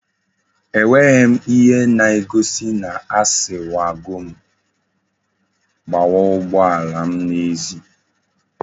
E nweghim ihe na egosi na asiwagom gbawa ugbo alam na ezi